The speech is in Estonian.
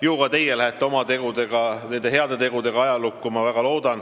Ju ka teie lähete oma tegudega, nende heade tegudega ajalukku, ma väga loodan.